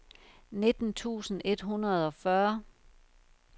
nitten tusind et hundrede og fyrre